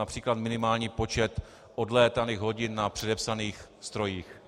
Například minimální počet odlétaných hodin na předepsaných strojích.